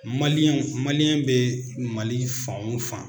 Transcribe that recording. Maliyɛnw maliyɛn bɛ Mali fan o fan